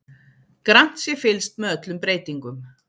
Grannt sé fylgst með öllum breytingum